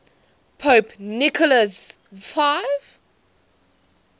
pope nicholas v